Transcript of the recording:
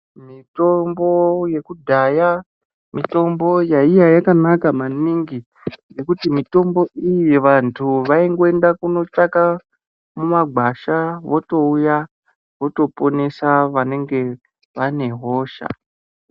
Mitombo yekudhaya mitombo yaiya yakanaka maningi ngekuti mitombo iyi vantu vaingoenda kunotsavaka mumagwasha votouya votoponesa vanenge vane hosha.